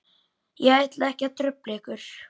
Ég ætla ekki að trufla ykkur.